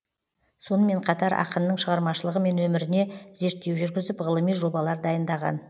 сонымен қатар ақынның шығармашылығы мен өміріне зерттеу жүргізіп ғылыми жобалар дайындаған